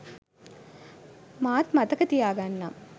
මාත් මතක තියාගන්නම්